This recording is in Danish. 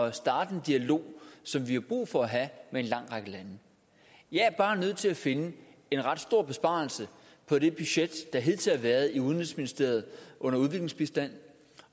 at starte en dialog som vi har brug for at have med en lang række lande jeg er bare nødt til at finde en ret stor besparelse på det budget der hidtil har været i udenrigsministeriet under udviklingsbistand